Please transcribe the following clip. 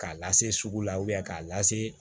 K'a lase sugu la k'a lase